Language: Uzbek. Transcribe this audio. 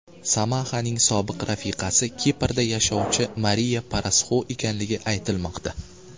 Samahaning sobiq rafiqasi Kiprda yashovcha Mariya Parasxu ekanligi aytilmoqda.